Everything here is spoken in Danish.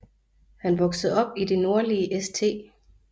Han voksede op i det nordlige St